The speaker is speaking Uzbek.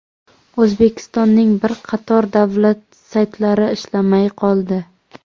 O‘zbekistonning bir qator davlat saytlari ishlamay qoldi.